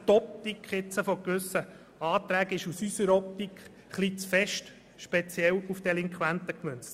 Die Optik gewisser Anträge ist aus unserer Sicht bisweilen etwas zu stark auf die Delinquenten gerichtet.